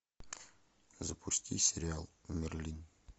запусти сериал мерлин